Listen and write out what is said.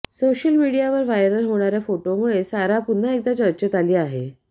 social मिडियावर viral होणाऱ्या फोटोमुळे सारा पुन्हा एकदा चर्चेत आली आहे